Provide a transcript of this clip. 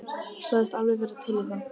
Sagðist alveg vera til í það.